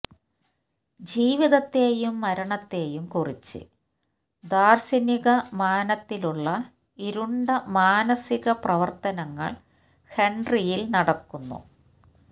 ജീവിതത്തേയും മരണത്തേയും കുറിച്ച് ദാര്ശനിക മാനത്തിലുള്ള ഇരുണ്ട മാനസിക പ്രവര്ത്തനങ്ങള് ഹെന്ട്രിയില് നടക്കുന്നു